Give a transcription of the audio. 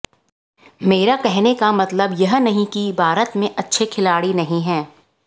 मेरा कहने का मतलब यह नहीं कि भारत में अच्छे खिलाड़ी नहीं है